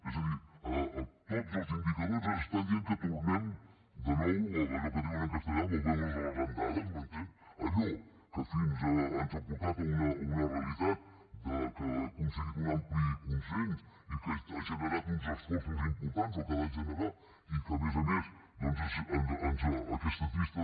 és a dir tots els indicadors ens estan dient que tornem de nou a allò que diuen en castellà volvemos a las andadas m’entén allò que ens ha portat a una realitat que ha aconseguit un ampli consens i que ha generat uns esforços importants o que ha de generar los i que a més a més aquesta trista